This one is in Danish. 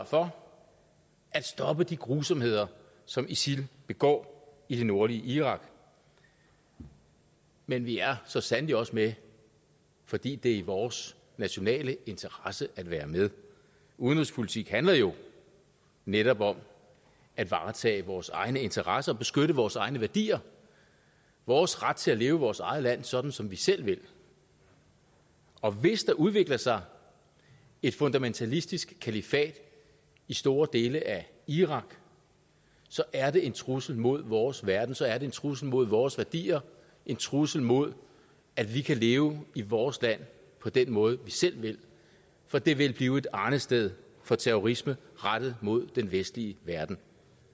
for at stoppe de grusomheder som isil begår i det nordlige irak men vi er så sandelig også med fordi det er i vores nationale interesse at være med udenrigspolitik handler jo netop om at varetage vores egne interesser beskytte vores egne værdier vores ret til at leve i vores eget land sådan som vi selv vil og hvis der udvikler sig et fundamentalistisk kalifat i store dele af irak så er det en trussel mod vores verden så er det en trussel mod vores værdier en trussel mod at vi kan leve i vores land på den måde vi selv vil for det vil blive et arnested for terrorisme rettet mod den vestlige verden